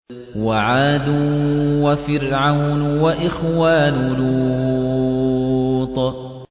وَعَادٌ وَفِرْعَوْنُ وَإِخْوَانُ لُوطٍ